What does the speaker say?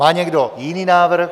Má někdo jiný návrh?